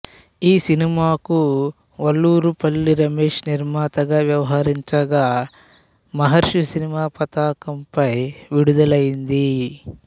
ఈ సినిమాకు వల్లూరుపల్లి రమేష్ నిర్మాతగా వ్యవహరించగా మహర్షి సినిమా పతాకంపై విడుదలైంది